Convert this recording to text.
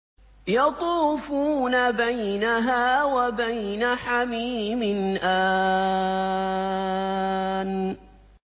يَطُوفُونَ بَيْنَهَا وَبَيْنَ حَمِيمٍ آنٍ